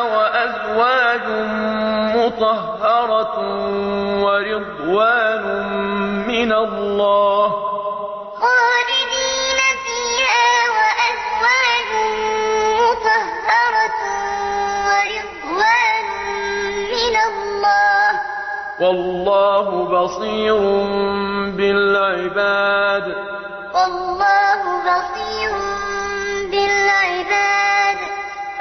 وَأَزْوَاجٌ مُّطَهَّرَةٌ وَرِضْوَانٌ مِّنَ اللَّهِ ۗ وَاللَّهُ بَصِيرٌ بِالْعِبَادِ ۞ قُلْ أَؤُنَبِّئُكُم بِخَيْرٍ مِّن ذَٰلِكُمْ ۚ لِلَّذِينَ اتَّقَوْا عِندَ رَبِّهِمْ جَنَّاتٌ تَجْرِي مِن تَحْتِهَا الْأَنْهَارُ خَالِدِينَ فِيهَا وَأَزْوَاجٌ مُّطَهَّرَةٌ وَرِضْوَانٌ مِّنَ اللَّهِ ۗ وَاللَّهُ بَصِيرٌ بِالْعِبَادِ